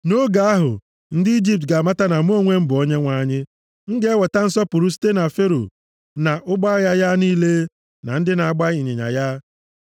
Nʼoge ahụ, ndị Ijipt ga-amata na mụ onwe m bụ Onyenwe anyị. M ga-enweta nsọpụrụ site na Fero, na ụgbọ agha ya niile, na ndị na-agba ịnyịnya ya.”